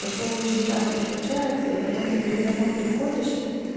такое очень часто случается и потом ты говорит домой приходишь